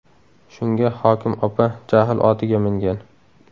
Shunga hokim opa jahl otiga mingan.